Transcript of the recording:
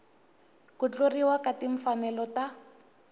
ku tluriwa ka timfanelo ta